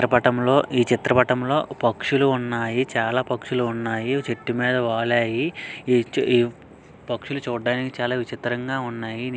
చిత్రపటంలో ఈ చిత్రపతంలో పక్షులు ఉన్నాయి చాలా పక్షులు ఉన్నాయి చెట్టు మీద వాలాయి ఈ_ఈ పక్షులు చూడడానికి చాలా విచిత్రంగా ఉన్నాయి.